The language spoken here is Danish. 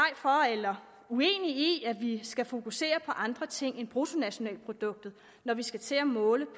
eller uenig i at vi skal fokusere på andre ting end bruttonationalproduktet når vi skal til at måle